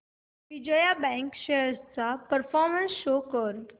Vijaya bank shares चा performance show कर